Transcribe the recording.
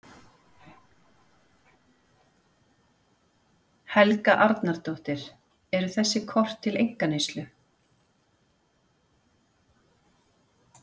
Helga Arnardóttir: Eru þessi kort til einkaneyslu?